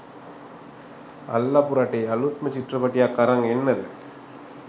අල්ලපු රටේ අලුත්ම චිත්‍රපටියක් අරන් එන්නද?